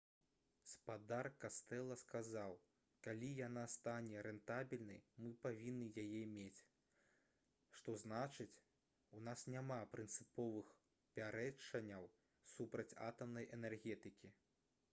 спадар кастэла сказаў: «калі яна стане рэнтабельнай мы павінны яе мець. што значыць у нас няма прынцыповых пярэчанняў супраць атамнай энергетыкі»